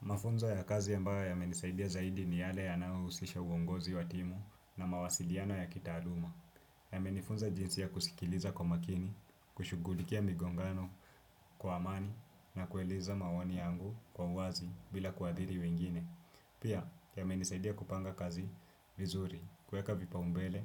Mafunzo ya kazi ambayo yamenisaidia zaidi ni yale yanayo husisha uongozi wa timu na mawasiliano ya kitaaluma. Ya menifunza jinsi ya kusikiliza kwa makini, kushughulikia migongano kwa amani na kueleza maoni yangu kwa uwazi bila kuadhiri wengine. Pia yamenisaidia kupanga kazi vizuri kuweka vipaumbele